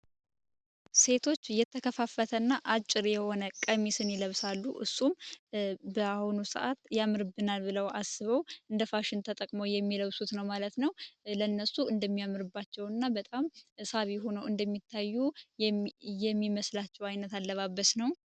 ሴቶች እየተከፋፈተና አጭር የሆነ ቀሚስን ይለብሳሉ እሱም በአሁኑ ሰዓት ያምርብናል ብለው አስበው እንደ ፋሽን ተጠቅሞው የሚለብሱት ነው ማለት ነው ለነሱ እንደሚያምርባቸው እና በጣም ሳቢ ሆነው እንደሚታዩ የሚመስላቸው አይነት አለባበት ነው።